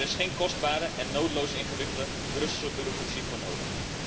Daar is geen kostbare en nodeloos ingewikkelde Brusselse bureaucratie voor nodig.